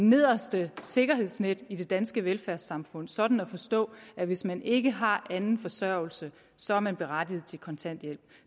nederste sikkerhedsnet i det danske velfærdssamfund sådan at forstå at hvis man ikke har anden forsørgelse så er man berettiget til kontanthjælp